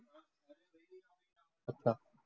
अच्छा.